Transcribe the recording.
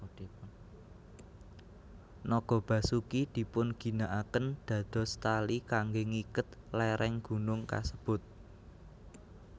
Naga Basuki dipunginakaken dados tali kangge ngiket léréng gunung kasebut